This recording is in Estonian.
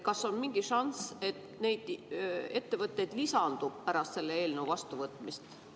Kas on mingi šanss, et neid ettevõtteid lisandub pärast selle eelnõu vastuvõtmist?